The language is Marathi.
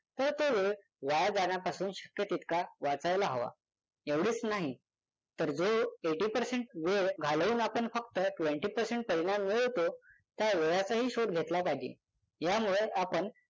तर तो वेळ वाया जाण्यापासून शक्य तितका वाचायला हवा. एवढेच नाही तर जो eighty percent वेळ घालवून आपण फक्त twenty percent परिणाम मिळवतो त्या वेळाचाही शोध घेतला पाहिजे यामुळे आपण